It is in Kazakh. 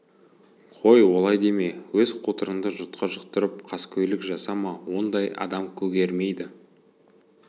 қой олай деме өз қотырыңды жұртқа жұқтырып қаскөйлік жасама ондай адам көгермейді